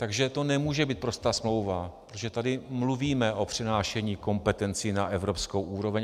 Takže to nemůže být prostá smlouva, protože tady mluvíme o přenášení kompetencí na evropskou úroveň.